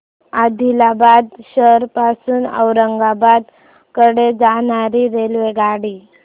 आदिलाबाद शहर पासून औरंगाबाद कडे जाणारी रेल्वेगाडी